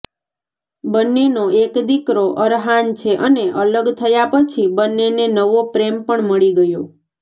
બન્નેનો એક દીકરો અરહાન છે અને અલગ થયા પછી બન્નેને નવો પ્રેમ પણ મળી ગયો